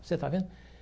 Você está vendo?